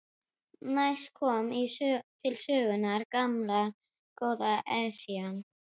Næst kom til sögunnar gamla, góða Esjan.